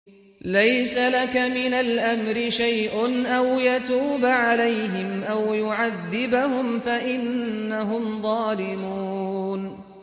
لَيْسَ لَكَ مِنَ الْأَمْرِ شَيْءٌ أَوْ يَتُوبَ عَلَيْهِمْ أَوْ يُعَذِّبَهُمْ فَإِنَّهُمْ ظَالِمُونَ